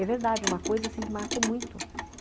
É verdade, uma coisa assim que marcou muito.